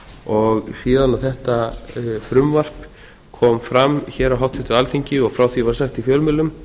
og síðan þetta frumvarp kom fram hér á háttvirtu alþingi og frá því var sagt í fjölmiðlum